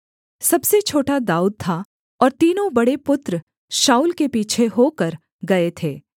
सबसे छोटा दाऊद था और तीनों बड़े पुत्र शाऊल के पीछे होकर गए थे